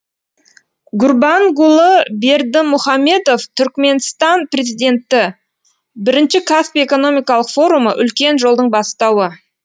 гурбангулы бердімұхамедов түрікменстан президенті бірінші каспий экономикалық форумы үлкен жолдың бастауы